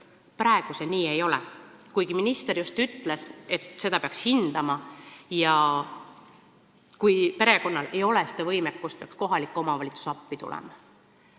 Praegu see nii ei ole, kuigi minister just ütles, et seda peaks hindama ja kui perekonnal ei ole maksevõimekust, peaks kohalik omavalitsus appi tulema.